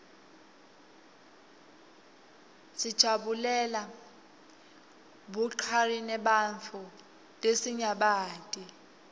dijarulela burqarinebantfu lesinyabati